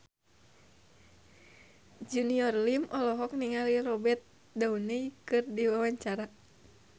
Junior Liem olohok ningali Robert Downey keur diwawancara